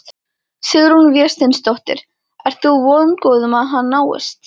Sigrún Vésteinsdóttir: Ert þú vongóð um að hann náist?